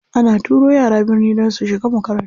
Ana turo yara birni don su shiga makarantu.